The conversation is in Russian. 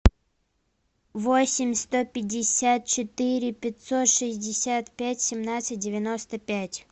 восемь сто пятьдесят четыре пятьсот шестьдесят пять семнадцать девяносто пять